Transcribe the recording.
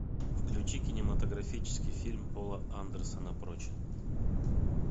включи кинематографический фильм пола андерсона прочь